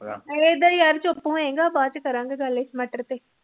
ਇਹਦਾ ਯਾਰ ਚੁਪ ਹੋਏ ਗਾ ਫੇਰ ਕਰਾਗੇ ਗੱਲ